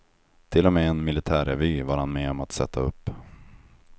Till och med en militärrevy var han med om att sätta upp.